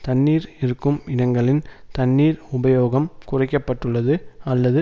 தண்ணீர் இருக்கும் இடங்களில் தண்ணீரின் உபயோகம் குறைக்க பட்டுள்ளது அல்லது